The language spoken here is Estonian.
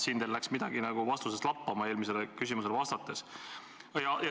Siin läks teil eelmisele küsimusele vastates midagi nagu vastuses lappama.